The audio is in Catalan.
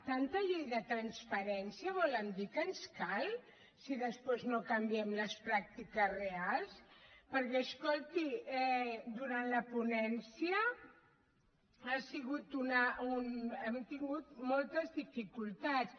tanta llei de transparència volen dir que ens cal si després no canviem les pràctiques reals perquè escolti durant la ponència hem tingut moltes dificultats